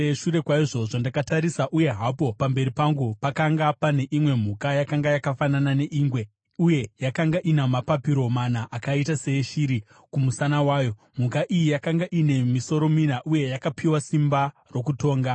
“Shure kwaizvozvo, ndakatarisa, uye hapo pamberi pangu pakanga pane imwe mhuka, yakanga yakafanana neingwe. Uye yakanga ina mapapiro mana akaita seeshiri kumusana kwayo. Mhuka iyi yakanga ine misoro mina, uye yakapiwa simba rokutonga.